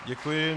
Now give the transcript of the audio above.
Děkuji.